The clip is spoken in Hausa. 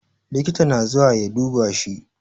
Likita na zuwa ya duba shi